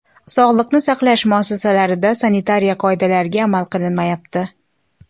Sog‘liqni saqlash muassasalarida sanitariya qoidalariga amal qilinmayapti.